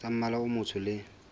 tsa mmala o motsho le